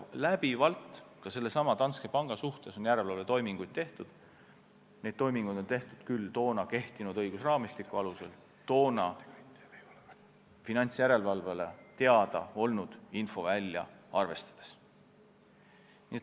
Läbivalt on ka sellesama Danske panga üle järelevalvetoiminguid tehtud, varem küll siis toona kehtinud õigusraamistiku alusel ja toona finantsjärelevalvele teada olnud infovälja arvestades.